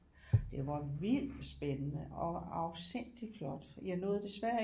Det var vildt spændende og afsindigt flot jeg nåede desværre ikke